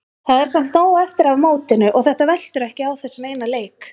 Það er samt nóg eftir af mótinu og þetta veltur ekki á þessum eina leik.